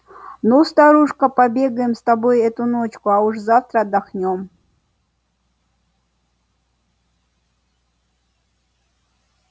ну старушка побегаем с тобой эту ночку а уж завтра отдохнём